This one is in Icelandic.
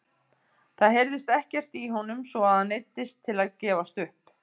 Það heyrðist ekkert í honum svo að hann neyddist til að gefast upp!